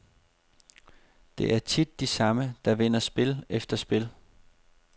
Det er tit de samme, der vinder spil efter spil.